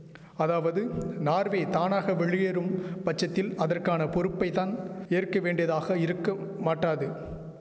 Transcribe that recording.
அதாவது நார்வே தானாக வெளியேறும் பட்சத்தில் அதற்கான பொறுப்பைத் தான் ஏற்க வேண்டியதாக இருக்க மாட்டாது